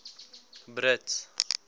brits